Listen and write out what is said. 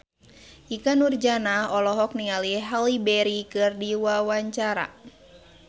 Ikke Nurjanah olohok ningali Halle Berry keur diwawancara